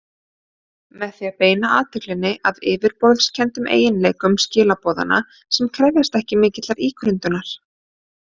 Með því að beina athyglinni að yfirborðskenndum eiginleikum skilaboðanna sem krefjast ekki mikillar ígrundunar.